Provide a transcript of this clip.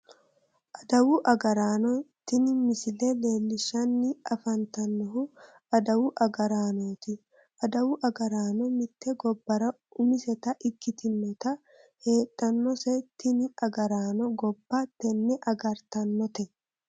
Adawu agaraano tini misile leellishshanni afantannohu adawu agaraanooti adawu agaraano mitte gobbara umiseta ikkitinota heedhannose tini agaraano gobba tenne agartannote